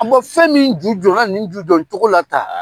A fɛn min ju jƆnna nin jujƆn cogo la tan